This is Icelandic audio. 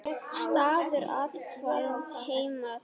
Staður athvarf heima telst.